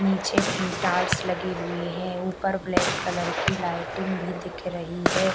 निचे मे टाइल्स लगी हुई है ऊपर ब्लैक कलर की लाइटिंग भी दिख रही है।